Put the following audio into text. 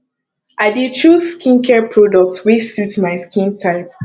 i dey choose skincare products wey suit my skin type